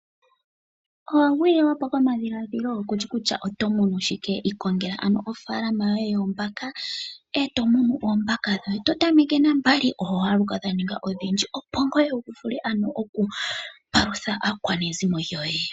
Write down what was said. Owa gwililwa po ko madhiladhilo ,kushi kutya oto munu shike? Ikongela ano oofaalama yoye yoombaka, eto munu oombaka dhoye, to tameke na mbali, oho haluka dha ninga odhindji, opo ngoye wu vule ano okupalutha aakwanezimo lyoye.